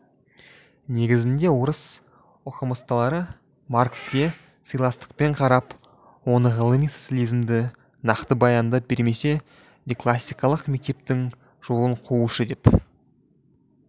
негізінде орыс оқымыстылары маркске сыйластықпен қарап оны ғылыми социализмді нақты баяндап бермесе де классикалық мектептің жолын қуушы деп